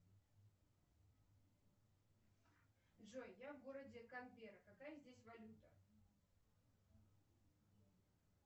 джой я в городе канберра какая здесь валюта